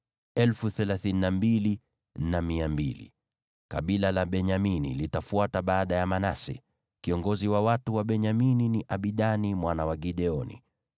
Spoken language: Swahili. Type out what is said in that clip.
Kabila la Benyamini litafuata baada ya Manase. Kiongozi wa watu wa Benyamini ni Abidani mwana wa Gideoni.